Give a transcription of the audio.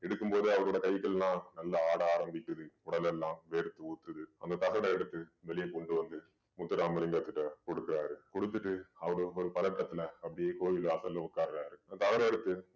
எடுக்கும் போதே அவரோட கைகள் எல்லாம் நல்லா ஆட ஆரம்பிக்குது உடல் எல்லாம் வேர்த்து ஊத்துது அந்த தகட எடுத்து வெளியே கொண்டு வந்து முத்துராமலிங்கத்திடம் கொடுக்கிறாரு குடுத்துட்டு அவரு ஒரு பதட்டத்தில அப்படியே கோயில் வாசல்ல உட்காருறாரு அந்த தகட எடுத்து